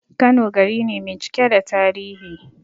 Kano gari ne mai cike da tarihi